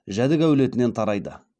жәдік әулетінен тарайды